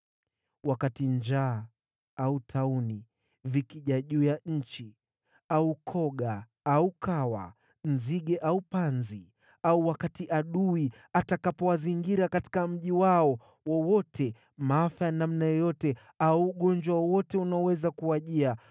“Wakati njaa au tauni vikija juu ya nchi, au koga au kawa, nzige au panzi, au wakati adui atakapowazingira katika mji wao wowote, maafa ya namna yoyote au ugonjwa wowote unaoweza kuwajia,